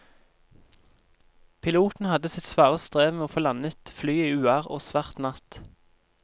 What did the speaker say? Piloten hadde sitt svare strev med å få landet flyet i uvær og svart natt.